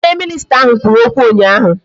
Onye minisita ahụ kwuru okwu ụnyaahụ